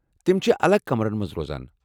تِم چھِ الاحدٕ کمرن مَنٛز روزان۔